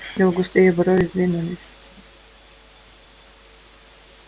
его густые брови сдвинулись